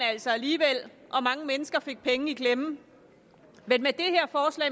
altså alligevel og mange mennesker fik penge i klemme